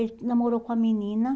Ele namorou com uma menina.